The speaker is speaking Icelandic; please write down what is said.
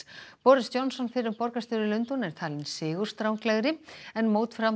boris Johnson fyrrum borgarstjóri Lundúna er talinn sigurstranglegri en